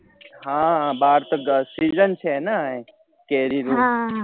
હા બાર તો ગરમી season છે ને કેરી ની